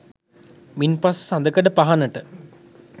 මින්පසු සඳකඩ පහණට